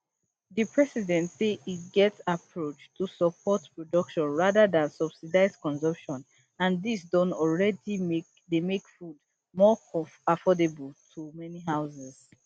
di president say e get approach to support production rather dan subsidize consumption and dis don alreadi dey make food more affordable to many houses